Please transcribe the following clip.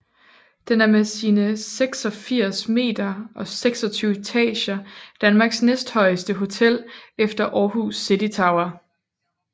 Det er med sine 86 meter og 26 etager Danmarks næsthøjeste hotel efter Aarhus City Tower